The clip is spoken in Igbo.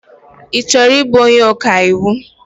Ị chọrọ ịbụ onye ọkaiwu?